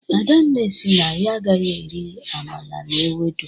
adanne si na ya agaghi eri amala na ewudo